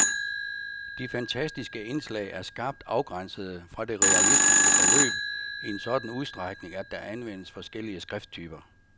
De fantastiske indslag er skarpt afgrænsede fra det realistiske forløb, i en sådan udstrækning, at der anvendes forskellige skrifttyper.